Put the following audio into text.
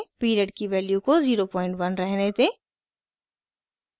period की value को 01 रहने दें